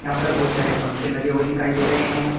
यहां पर बहुत सारे पंखे लगे हुए दिखाई दे रहे हैं।